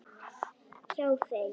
Hjá þeim.